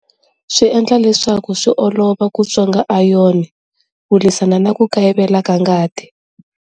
Swi endla leswaku swi olova ku tswonga iron ku lwisana na ku kayivela ka ngati.